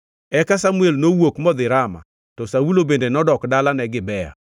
Eka Samuel nowuok modhi Rama, to Saulo bende nodok dalane Gibea.